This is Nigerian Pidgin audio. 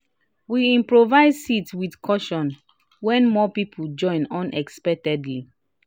we improvise seat with cushion when more people join unexpectedly